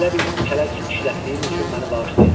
Belə bir kələk işlətdiyim üçün məni bağışlayın.